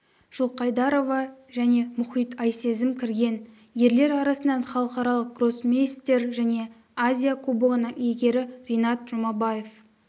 жылқайдарова және мұхит айсезім кірген ерлер арасынан халықаралық гроссмейстер және азия кубогының иегері ринат жұмабаев